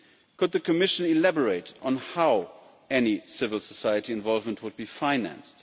Could the Commission elaborate on how any civil society involvement would be financed?